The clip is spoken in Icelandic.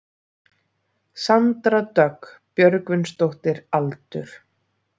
Sandra Dögg Björgvinsdóttir Aldur?